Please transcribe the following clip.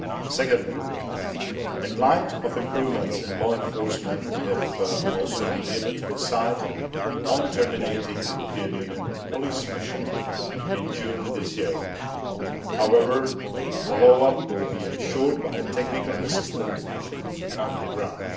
Secondly, in light of improvements in law enforcement we have also been able to decide on terminating the European Union Police Mission in June this year. However, follow up will be ensured by a technical assistance mission on the ground.